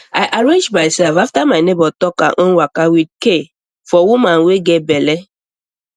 i arrange myself after my neighbor talk her own waka with care for woman wey get belle